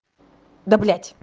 да блядь